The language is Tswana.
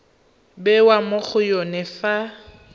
bewa mo go yone fa